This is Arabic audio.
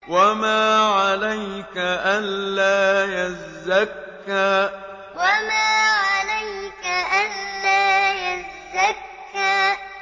وَمَا عَلَيْكَ أَلَّا يَزَّكَّىٰ وَمَا عَلَيْكَ أَلَّا يَزَّكَّىٰ